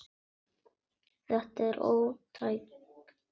Þetta er ótækt.